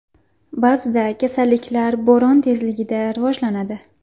Ba’zida kasalliklar bo‘ron tezligida rivojlanadi.